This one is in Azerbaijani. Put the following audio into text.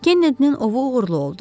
Kennedy-nin ovu uğurlu oldu.